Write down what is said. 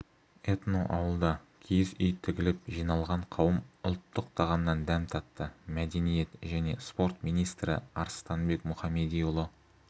этноауылда киіз үй тігіліп жиналған қауым ұлттық тағамнан дәм татты мәдениет және спорт министрі арыстанбек мұхамедиұлы